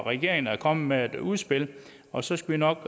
regeringen er kommet med et udspil og så skal vi nok